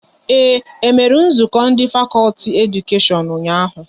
E mere nzukọ ndị fakọlti Edukashion ụnyaahụ?